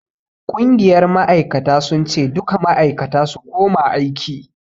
Ƙungiyar ma'aikata sun ce 'Duka ma'aikata su koma aiki'!